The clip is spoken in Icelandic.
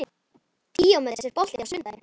Díómedes, er bolti á sunnudaginn?